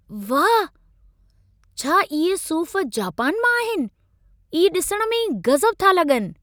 वाह! छा इहे सूफ़ जापान मां आहिन? इहे ॾिसण में ई गज़ब था लॻनि।